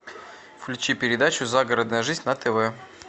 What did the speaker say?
включи передачу загородная жизнь на тв